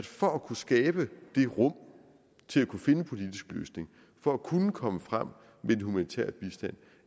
for at kunne skabe det rum til at kunne finde en politisk løsning for at kunne komme frem med en humanitær bistand